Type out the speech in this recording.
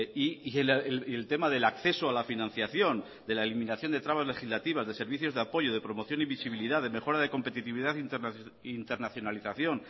y el tema del acceso a la financiación de la eliminación de trabas legislativas de servicios de apoyo de promoción y visibilidad de mejora de competitividad e internacionalización